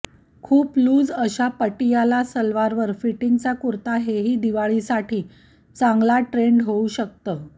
खूप लूज अशा पटियाला सलवारवर फिटिंगचा कुर्ता हेही दिवाळीसाठी चांगला ट्रेण्ड होऊ शकतं